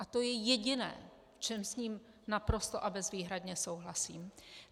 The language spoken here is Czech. A to je jediné, v čem s ním naprosto a bezvýhradně souhlasím.